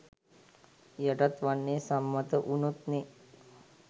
යටත් වෙන්නේ සම්මත වුනොත්නේ